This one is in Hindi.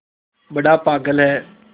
बड़ा पागल है